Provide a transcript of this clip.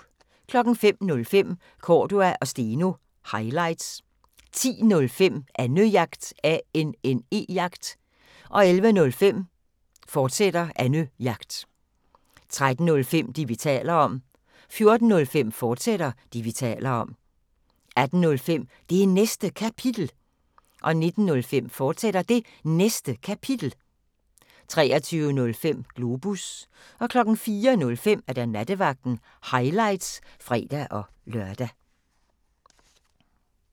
05:05: Cordua & Steno – highlights 10:05: Annejagt 11:05: Annejagt, fortsat 13:05: Det, vi taler om 14:05: Det, vi taler om, fortsat 18:05: Det Næste Kapitel 19:05: Det Næste Kapitel, fortsat 23:05: Globus 04:05: Nattevagten – highlights (fre-lør)